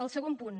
el segon punt